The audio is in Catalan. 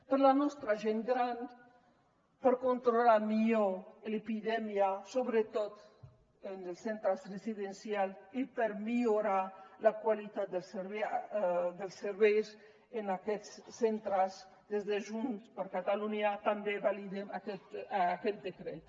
per la nostra gent gran per controlar millor l’epidèmia sobretot en els centres residencials i per millorar la qualitat dels serveis en aquests centres des de junts per catalunya també validem aquest decret